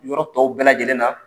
Yɔrɔ tɔw bɛɛ lajɛlen na